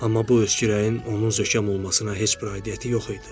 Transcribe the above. Amma bu öskürəyin onun zökəm olmasına heç bir aidiyyatı yox idi.